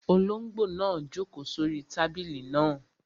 Olóngbò náà n jòkó sórí tábìlì náà